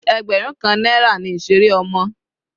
Ẹgbẹrun kan náírà ni ìseré ọmọ.